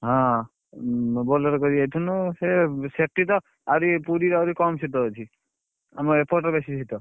ହଁ Bolero କରି ଯାଇଥିଲୁ ସେ ସେଠିତ ଆହୁରି ପୁରୀ ରେ ଆହୁରି କମ ଶୀତ ଅଛି ଆମ ଏପଟେ ବେଶୀ ଶୀତ।